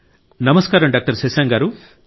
నమస్కారం డాక్టర్ శశాంక్ గారూ